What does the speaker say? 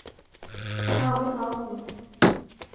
Amund Hovden